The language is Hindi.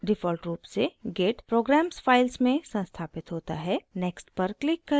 default रूप से git programs files में संस्थापित होता है next पर click करें